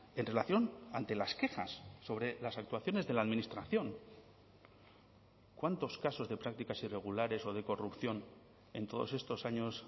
en relación ante las quejas sobre las actuaciones de la administración cuántos casos de prácticas irregulares o de corrupción en todos estos años